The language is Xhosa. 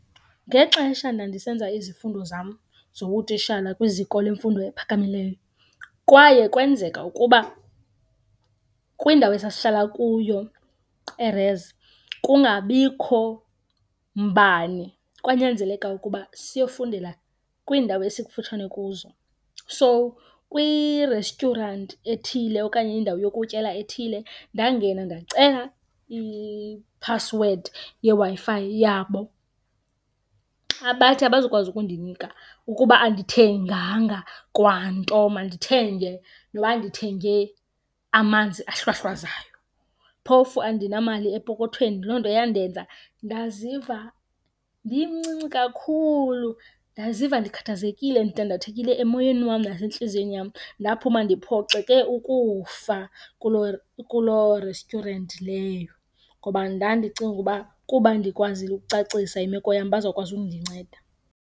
Ngexesha ndandisenza izifundo zam zobutishala kwiziko lemfundo ephakamileyo kwaye kwenzeka ukuba kwindawo esasihlala kuyo erezi kungabikho mbane. Kwanyanzeleka ukuba siyofundela kwiindawo esikufutshane kuzo. So, kwirestyuranti ethile okanye indawo yokutyela ethile ndangena ndacela iphasiwedi yeWi-Fi yabo, bathi abazukwazi ukundinika ukuba andithenganga kwanto. Mandithenge noba ndithenge amanzi ahlwahlwazayo, phofu andinamali epokothweni. Loo nto yandenza ndaziva ndimncinci kakhulu, ndaziva ndikhathazekile, ndidandathekile emoyeni wam nasentliziyweni yam. Ndaphuma ndiphoxeke ukufa kuloo restyurenti leyo ngoba ndandicinga ukuba kuba ndikwazile ukucacisa imeko yam bazawukwazi undinceda.